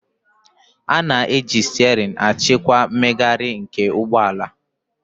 A na-eji steering achịkwa mmegharị nke ụgbọ ala